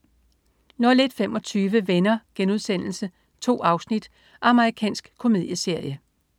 01.25 Venner.* 2 afsnit. Amerikansk komedieserie